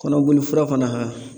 Kɔnɔboli fura fana ka